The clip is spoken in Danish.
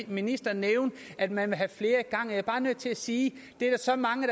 ministeren nævne at man vil have flere i gang jeg er bare nødt til sige det er der så mange